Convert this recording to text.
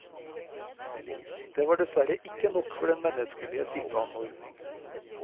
Det var dessverre ikke nok for den menneskelige sitteanordning.